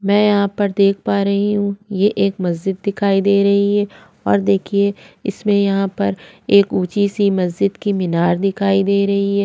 में यहाँ पर देख पा रही हु यह एक मस्जिद दिखाई दे रही है और देखिए इसमें यहाँ पर एक उच्ची सी मस्जिद की मीनार दिखाई दे रही है।